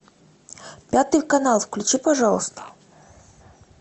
пятый канал включи пожалуйста